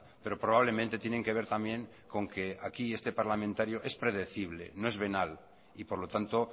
pero probablemente tienen que ver también con que aquí este parlamentario es predecible no es venal y por lo tanto